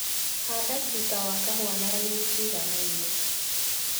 Handa tuta wa kahũa na raini ciiganaine.